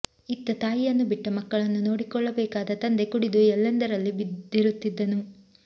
ಇತ್ತ ತಾಯಿಯನ್ನು ಬಿಟ್ಟ ಮಕ್ಕಳನ್ನು ನೋಡಿಕೊಳ್ಳಬೇಕಾದ ತಂದೆ ಕುಡಿದು ಎಲ್ಲಂದರಲ್ಲಿ ಬಿದ್ದಿರುತ್ತಿದ್ದನು